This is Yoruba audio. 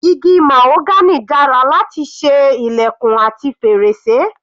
Igi mahagony dára láti ṣe ilẹ̀kùn àti fèrèsé.